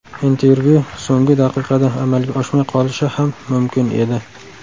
Intervyu so‘nggi daqiqada amalga oshmay qolishi ham mumkin edi.